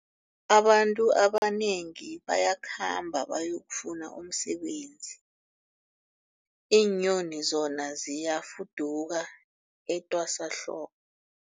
Abantu abanengi bayakhamba bayokufuna umsebenzi, iinyoni zona ziyafuduka etwasahlobo.